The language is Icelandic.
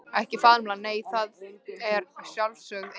Ekki faðmlag nei, það er sjálfsögð eining.